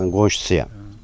Mən qonşusuyam.